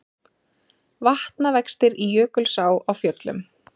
Vatnavextir í Jökulsá á Fjöllum